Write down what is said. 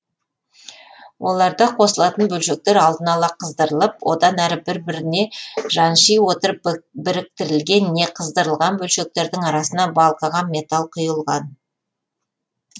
оларда қосылатын бөлшектер алдын ала қыздырылып одан әрі бір біріне жанши отырып біріктірілген не қыздырылған бөлшектердің арасына балқыған металл құйылған